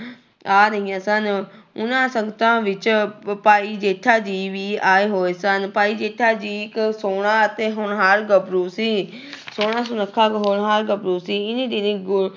ਆ ਰਹੀਆਂ ਸਨ, ਉਹਨਾਂ ਸੰਗਤਾਂ ਵਿੱਚ ਭਾਈ ਜੇਠਾ ਜੀ ਵੀ ਆਏ ਹੋਏ ਸਨ, ਭਾਈ ਜੇਠਾ ਜੀ ਇੱਕ ਸੋਹਣਾ ਅਤੇ ਹੋਨਹਾਰ ਗੱਭਰੂ ਸੀ ਸੋਹਣਾ, ਸੁੱਨਖਾ, ਹੋਣਹਾਰ ਗੱਭਰੂ ਸੀ ਇੰਨੀ ਦਿਨੀ ਗੁ